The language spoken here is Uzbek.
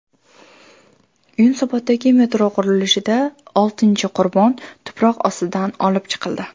Yunusoboddagi metro qurilishida oltinchi qurbon tuproq ostidan olib chiqildi.